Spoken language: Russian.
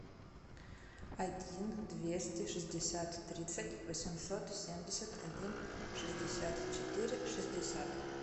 один двести шестьдесят тридцать восемьсот семьдесят один шестьдесят четыре шестьдесят